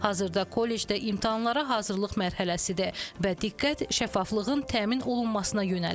Hazırda kollecdə imtahanlara hazırlıq mərhələsidir və diqqət şəffaflığın təmin olunmasına yönəlib.